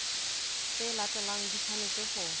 tse latelang di tshwanetse ho